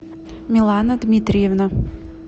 милана дмитриевна